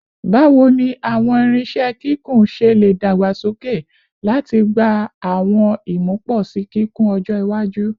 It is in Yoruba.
Bawo ni awọn irinṣẹ kikun ṣe le dagbasoke lati gba awọn imuposi kikun ọjọ iwaju?